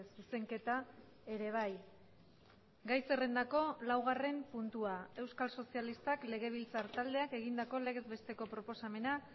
zuzenketa ere bai gai zerrendako laugarren puntua euskal sozialistak legebiltzar taldeak egindako legez besteko proposamena